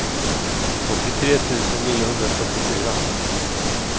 åttiotre tusen niohundrafyrtiofyra